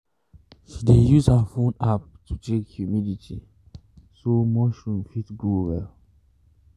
she dey use her phone app to check humidity so mushroom fit grow well.